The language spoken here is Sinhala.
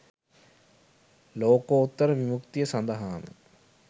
ලෝකෝත්තර විමුක්තිය සඳහාම